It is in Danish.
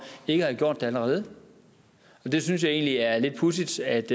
ikke at have gjort det allerede jeg synes egentlig det er lidt pudsigt at